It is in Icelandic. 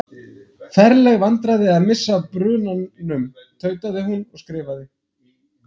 Ferleg vandræði að missa af brunan- um. tautaði hún og skrifaði